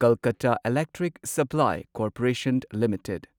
Kolkata electric supply corporation limited